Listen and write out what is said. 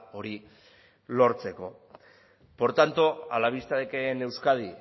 hori lortzeko por tanto a la vista de que en euskadi